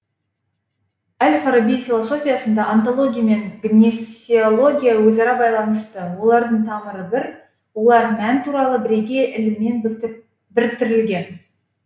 әл фараби философиясында онтология мен гнесеология өзара байланысты олардың тамыры бір олар мән туралы бірегей іліммен біріктірілген